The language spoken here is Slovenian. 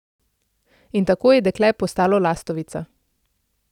In tako je dekle postalo lastovica.